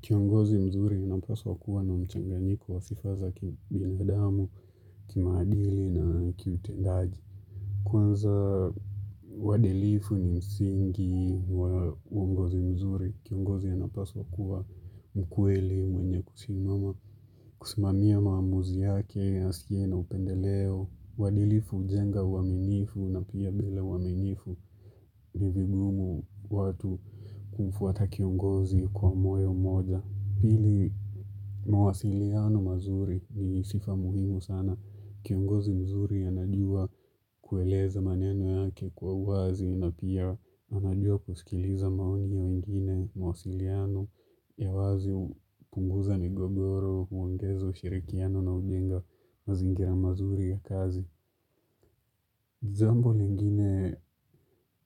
Kiongozi mzuri ya napaswa kuwa na mchanganyiko wa sifa za kibinadamu, kimaadili na kiutendaji Kwanza uadilifu ni msingi kiongozi mzuri, kiongozi ya napaswa kuwa mkweli mwenye kusimama kusimamia maamuzi yake, asiye na upendeleo uadilifu jenga uaminifu na pia mbele waminifu ni vigumu watu kumfuata kiongozi kwa moyo moja Pili mawasiliano mazuri ni sifa muhimu sana. Kiongozi mzuri anajua kueleza maneno yake kwa uwazi na pia anajua kusikiliza maoni ya wengine mawasiliano ya wazi kupunguza migogoro, huangezo, shirikiano na ujenga mazingira mazuri ya kazi. Jambo yengine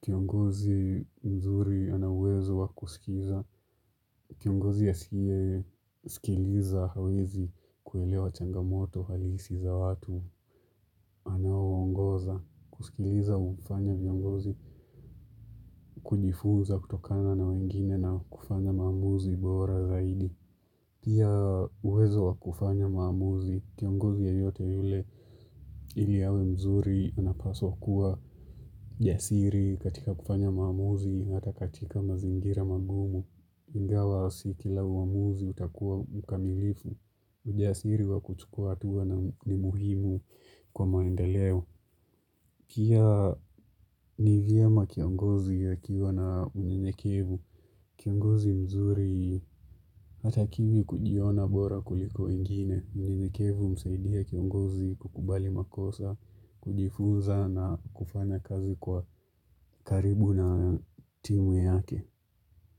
kiongozi mzuri ana uwezo wakusikiza. Kiongozi ya asiye sikiliza hawezi kuelewa changamoto halisi za watu anawongoza. Kusikiliza umfanya viongozi kujifuza kutokana na wengine na kufanya mamuzi bora zaidi. Pia uwezo wa kufanya maamuzi, kiongozi yoyote yule ili yawe mzuri unapaswa kuwa jasiri katika kufanya maamuzi hata katika mazingira mangumu. Ingawa si kila uamuzi utakuwa mkamilifu, ujasiri wa kuchukua hatua ni muhimu kwa maendeleo. Kia ni vyema kiongozi akiwa na unyenyekevu, kiongozi mzuri hata kivi kujiona bora kuliko wengine, unyenyekevu husaidia kiongozi kukubali makosa, kujifuza na kufanya kazi kwa karibu na timu yake.